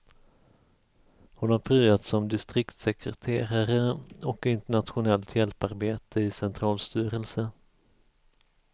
Hon har pryat som distriktssekreterare och i internationellt hjälparbete i centralstyrelse.